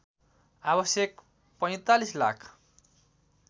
आवश्यक ४५ लाख